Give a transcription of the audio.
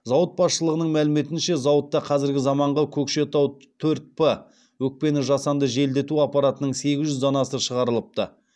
зауыт басшылығының мәліметінше зауытта қазіргі заманғы көкшетау төрт п өкпені жасанды желдету аппаратының сегіз жүз данасы шығарылыпты